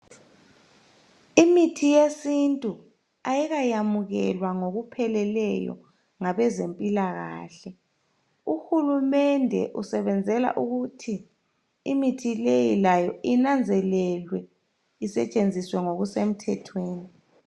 Imithi yesintu ayikayamukelwa ngokupheleyo ngabezempilakahle. Uhulumende usebenzela ukuthi imithi leyi layo inanzelelwe isetshenziswe ngokusemthethweni.